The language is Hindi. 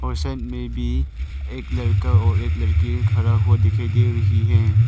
और साइड में भी एक लड़का और एक लड़की खड़ा हुआ दिखाई दे रही है।